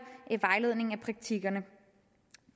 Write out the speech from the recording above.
vejledning i praktikkerne